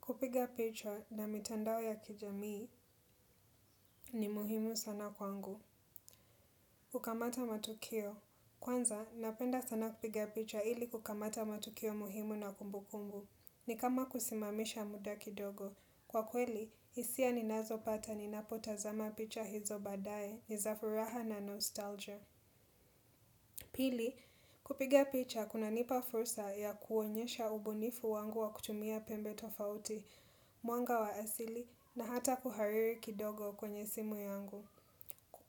Kupiga picha na mitandao ya kijamii ni muhimu sana kwangu. Kukamata matukio. Kwanza, napenda sana kupiga picha ili kukamata matukio muhimu na kumbukumbu. Ni kama kusimamisha muda kidogo. Kwa kweli, hisia ninazo pata ninapotazama picha hizo baadaye ni zafuraha na nostalgia. Pili, kupiga picha kunanipa fursa ya kuonyesha ubunifu wangu wa kutumia pembe tofauti, mwanga wa asili na hata kuhariri kidogo kwenye simu yangu.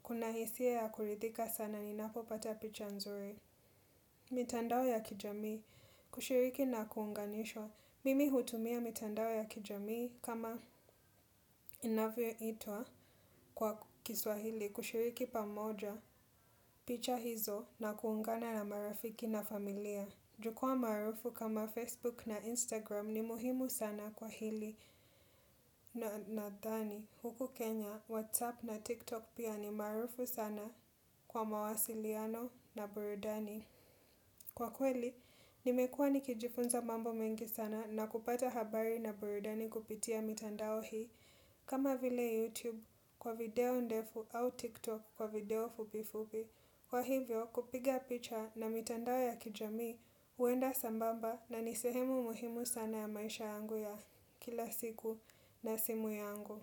Kuna hisia ya kurithika sana ninapopata picha nzuri. Mitandao ya kijamii kushiriki na kuunganishwa. Mimi hutumia mitandao ya kijamii kama inavyoitwa kwa kiswahili kushiriki pamoja picha hizo na kuungana na marafiki na familia. Jukwaa maarufu kama Facebook na Instagram ni muhimu sana kwa hili na nadhani. Huku Kenya, WhatsApp na TikTok pia ni maarufu sana kwa mawasiliano na burudani. Kwa kweli, nimekuwa nikijifunza mambo mengi sana na kupata habari na burudani kupitia mitandao hii. Kama vile YouTube kwa video ndefu au TikTok kwa video fupifupi. Kwa hivyo kupiga picha na mitandao ya kijami huenda sambamba na nisehemu muhimu sana ya maisha yangu ya kila siku na simu yangu.